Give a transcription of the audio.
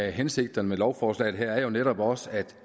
af hensigterne med lovforslaget her er jo netop også at